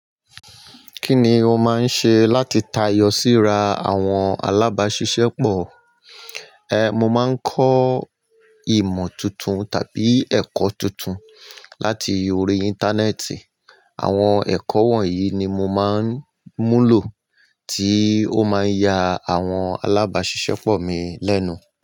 Kí ni o máa ń ṣe láti tayọ síra àwọn alábàáṣiṣẹ́pọ̀? Mo máa ń kọ́ ìmọ̀ tuntun tàbí ẹ̀kọ́ tuntun láti orí Íńtánẹ́ẹ̀tì. Àwọn ẹ̀kọ́ wọ̀nyí ni mo máa ń múlò tí ó máa ń ya àwọn alábàáṣiṣẹ́pọ̀ mi lẹ́nu.